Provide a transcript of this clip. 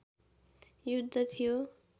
युद्ध थियो